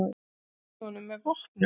Þeir ógnuðu honum með vopnum.